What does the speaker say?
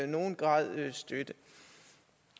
nogen grad støtte